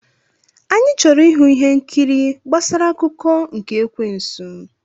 Anyị chọrọ ịhụ ihe nkiri gbasara akụkọ nke ekwensu.